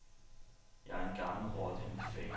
Jeg er en gammel rotte i mit fag.